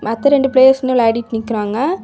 மொத்தம் ரெண்டு பிளேயர்ஸ் வந்து விளையாடிட்டு நிக்கறாங்க.